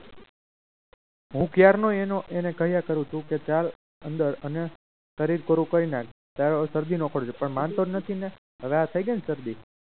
હું ક્યારનો એનો કહ્યા કરું છું કે ચાલ અંદર અને શરીર કોરું કરી નાખ તારો આ શરદી નો કોઠો છે પણ માનતો જ નથી ને હવે આ થઈ ગઈ ને શરદી